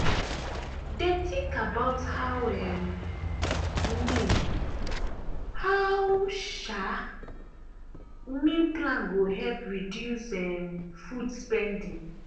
dem think about how um meal how um meal plan go help reduce um food spending.